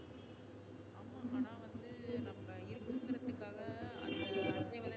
ஆமா ஆனா வந்து நம்ம இருக்குறதுக்காக அந்த